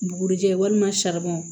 Bugurijɛ walima